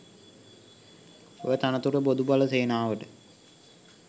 ඔය තනතුර බොදු බල සේනාවට